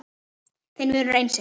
Þinn vinur Einsi